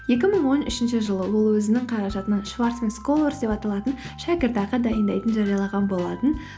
екі мың он үшінші жылы ол өзінің қаражатынан шварцман сколарс деп аталатын шәкіртақы дайындайтынын жариялаған болатын